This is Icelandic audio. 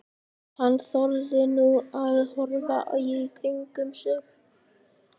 Hann þorði nú að horfa í kringum sig.